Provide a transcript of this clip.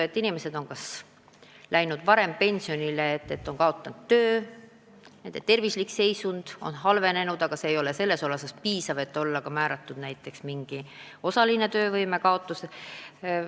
Inimesed on läinud varem pensionile, sest nad on kaotanud töö, nende tervislik seisund on halvenenud, aga mitte sel määral, et neile oleks määratud näiteks osaline töövõimekaotus.